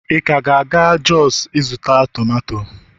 ị ka ga-aga jos ịzụta tomato